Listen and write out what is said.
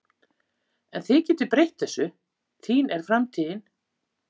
En þið getið breytt þessu, þín er framtíðin